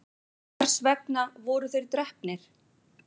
en hvers vegna voru þeir drepnir